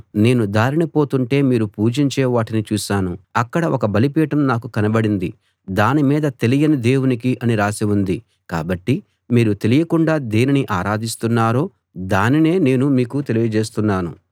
నేను దారిన పోతుంటే మీరు పూజించే వాటిని చూశాను అక్కడ ఒక బలిపీఠం నాకు కనబడింది దాని మీద తెలియని దేవునికి అని రాసి ఉంది కాబట్టి మీరు తెలియకుండా దేనిని ఆరాధిస్తున్నారో దానినే నేను మీకు తెలియజేస్తున్నాను